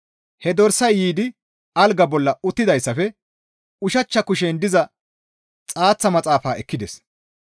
He dorsay yiidi algaa bolla uttidayssafe, ushachcha kushen diza xaaththa maxaafa ekkides.